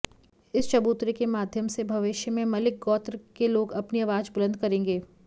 इस चबूतरे के माध्यम से भविष्य में मलिक गौत्र के लोग अपनी आवाज बुलंद करेंगे